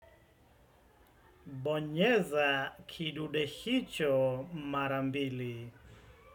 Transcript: Bonyeza kidude hicho mara mbili.